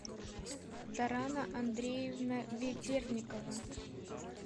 тарана андреевна ведерникова